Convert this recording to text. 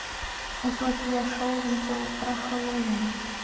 утопия шоу видео про хэллоуин